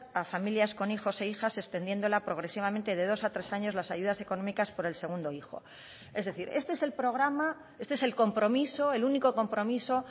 a familias con hijos e hijas extendiéndola progresivamente de dos a tres años las ayudas económicas por el segundo hijo es decir este es el programa este es el compromiso el único compromiso